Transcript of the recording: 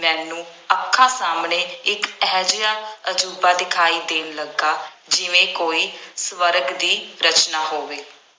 ਮੈਨੂੰ ਅੱਖਾਂ ਸਾਹਮਣੇ ਇੱਕ ਇਹੋ ਜਿਹਾ ਅਜੂਬਾ ਦਿਖਾਈ ਦੇਣ ਲੱਗਾ ਜਿਵੇਂ ਕੋਈ ਸਵਰਗ ਦੀ ਰਚਨਾ ਹੋਵੇ।